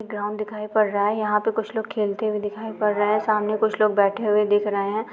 एक ग्राउंड दिखाई पड़ रहा है यहां पर कुछ लोग खेलते हुए दिखाई पड़ रहे हैं सामने कुछ लोग बैठे हुए दिख रहे हैं।